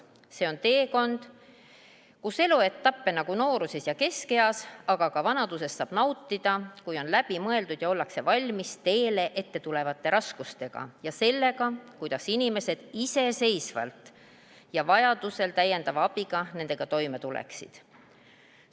See on teekond, kus eluetappe nagu noorust ja keskiga, aga ka vanadust saab nautida, kui on läbi mõeldud, kuidas olla valmis teel ettetulevateks raskusteks ja kuidas iseseisvalt või vajaduse korral abi saades nendega toime tulla.